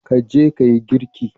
Ka je ka yi girki